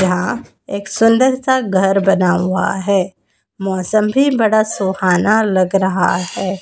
यहां एक सुंदर सा घर बना हुआ हैं मौसम भी बड़ा सुहाना लग रहा है।